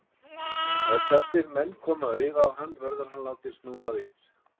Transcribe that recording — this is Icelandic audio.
Ef þessir menn koma auga á hann, verður hann látinn snúa við.